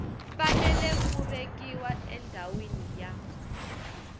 fanele ku vekiwa endhawini ya